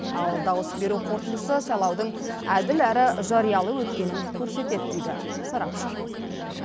ал дауыс беру қорытындысы сайлаудың әділ әрі жариялы өткенін көрсетеді дейді сарапшы